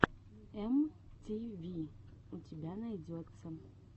эм ти ви у тебя найдется